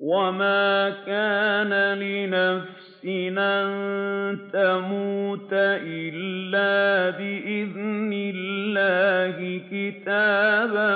وَمَا كَانَ لِنَفْسٍ أَن تَمُوتَ إِلَّا بِإِذْنِ اللَّهِ كِتَابًا